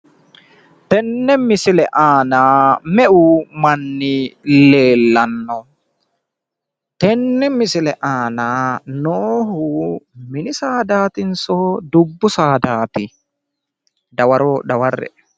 Tini misile aana meu manni leellanno? tenne misile aana noohu mini saadaatinso dubbu saadaati? dawaro daware'e.